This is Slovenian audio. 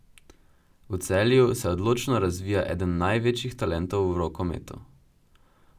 V Celju se odlično razvija eden največjih talentov v rokometu.